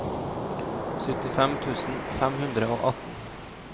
syttifem tusen fem hundre og atten